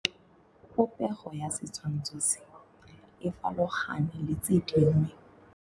Popêgo ya setshwantshô se, e farologane le tse dingwe.